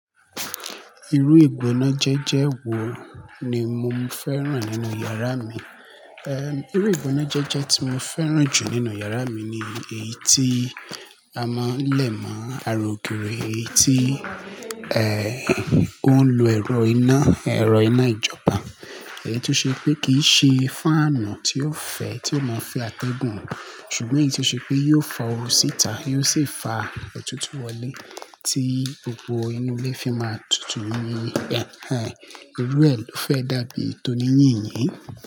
Irú ìgbónájẹ́jẹ́ wo ni mo fẹ́ rán nínú yàrá mi? Irú ìgbónájẹ́jẹ́ tí mo fẹ́ rán jù nínú yàrá mi ni èyí tí a máa ń lè mọ̀, ara o giri, èyí tí, ó ń lo ẹ̀rọ iná, ẹ̀rọ iná ìjọba. Èyí tó ṣe pé kì í ṣe fáànù tí yóò fẹ́, tí ó máa fẹ́ àtẹ́gùn, ṣùgbọ́n èyí tí ó ṣe pé yóò fa oru síta, yóò sì fa ètùtù wọlé tí gbogbo inú ilé fi máa tutù ni. Eh, irú ẹ ló fẹ́ dàbí toní yìnyín.